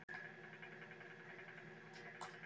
Spurning dagsins: Hvað er atvik sumarsins?